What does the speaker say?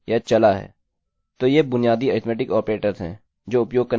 तो ये बुनियादी अरिथ्मेटिक ऑपरेटर्स हैं जो उपयोग करने के लिए सरल हैं